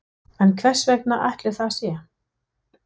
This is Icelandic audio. En hvers vegna ætli það sé?